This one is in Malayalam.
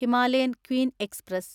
Himalayan queen express